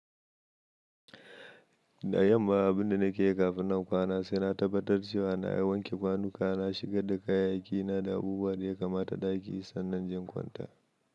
Da yanma abin da nake yi kafin nan kwana sai na tabbatar cewa na yi wanke kwanuka, na shigar da kayayyakina da abubuwan da ya kamata ɗaki sannan jinkunta.